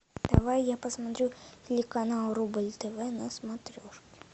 давай я посмотрю телеканал рубль тв на смотрешке